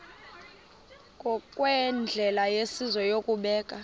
ngokwendlela yesizwe yokubeka